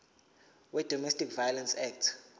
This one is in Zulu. wedomestic violence act